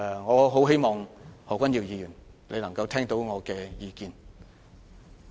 我希望何君堯議員聽到我的意見。